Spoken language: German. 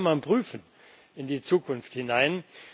Auch das kann man prüfen, in die Zukunft hinein.